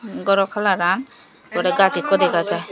goro colouran er pore gaj ekku dega jaai.